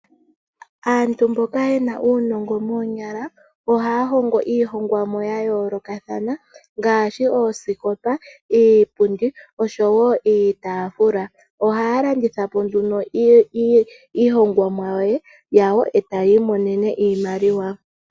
Aantu mboka ye na uunongo moonyala, ohaya hongo iihongomwa ya yoolokathana ngaashi oosikopa, iipundi osho wo iitaafula. Ohaya landitha po nduno iihongomwa yawo etaya imonene iimaliwa.